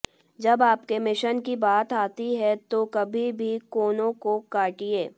जब आपके मिशन की बात आती है तो कभी भी कोनों को काटिये